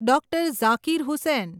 Dr. Zakir Hussain